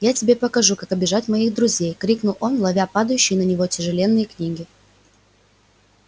я тебе покажу как обижать моих друзей крикнул он ловя падающие на него тяжеленные книги